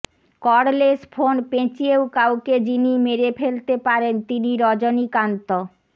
cordless phone পেঁচিয়েও কাউকে যিনি মেরে ফেলতে পারেন তিনি রজনীকান্ত